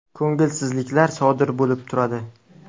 Ko‘ngilsizliklar sodir bo‘lib turadi.